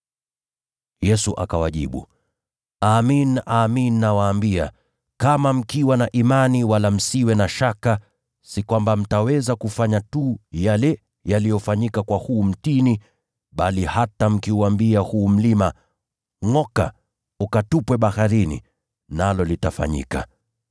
Yesu akawajibu, “Amin, nawaambia, kama mkiwa na imani wala msiwe na shaka, si kwamba mtaweza kufanya tu yale yaliyofanyika kwa huu mtini, bali hata mkiuambia huu mlima, ‘Ngʼoka, ukatupwe baharini,’ litafanyika.